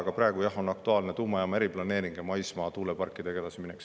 Aga praegu, jah, on aktuaalne tuumajaama eriplaneering ja maismaa tuuleparkidega edasiminek.